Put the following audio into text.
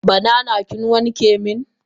Banana kin wanke min?